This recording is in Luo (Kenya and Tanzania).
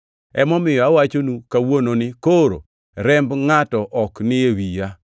Emomiyo awachonu kawuono ni koro remb ngʼato ok ni e wiya,